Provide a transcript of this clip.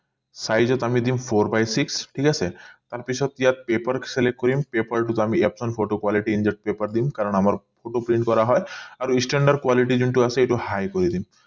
size আমি দিম four but six ঠিক আছে কাৰণ পিছত ইয়াত paper select কৰিম paper টো আমি photo quality paper দিম কাৰণ আমাৰ photo print কৰা হয় আৰু standard quality যোনটো আছে এইটো high কৰি দিম